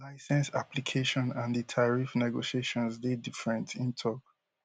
licence application and di tariff negotiations dey different im tok